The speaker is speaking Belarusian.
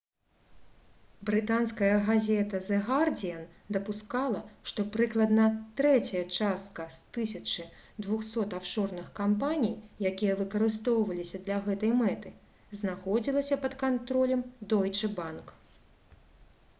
брытанская газета «зэ гардзіан» дапускала што прыкладна трэцяя частка з 1200 афшорных кампаній якія выкарыстоўваліся для гэтай мэты знаходзілася пад кантролем «дойчэ банк»